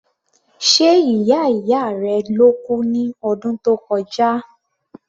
Ṣe ìyá ìyá rẹ ló kú ní ọdún tó kọjá?